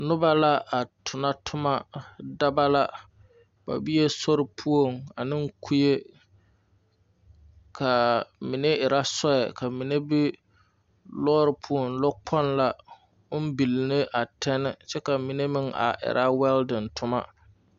Noba la a tona toma dɔba la ba be sori poɔŋ ane kue ka mine erɛ soe ka mine be lɔɔri poɔ lɔ kpoŋ la ko billi ne a tɛni kyɛ la mine erɛ wɛldiŋ toma.